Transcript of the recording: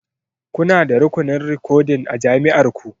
Kuna da rukunin rikodin a jami'ar ku?